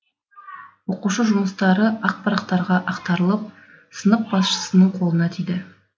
оқушы жұмыстары ақ парақтарға ақтарылып сынып басшысының қолына тиді